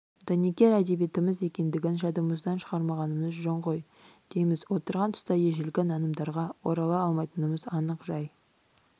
дәнекер әдебиетіміз екендігін жадымыздан шығармағанымыз жөн ғой дейміз отырған тұста ежелгі нанымдарға орала алмайтынымыз анық жай